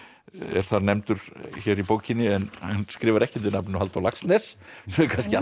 er það nefndur hér í bókinni en skrifar ekki undir nafninu Halldór Laxness sem er kannski